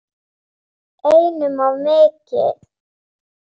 Einum of mikið.